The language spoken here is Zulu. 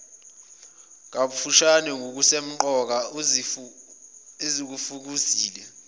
kafushane ngokusemqoka esikufezile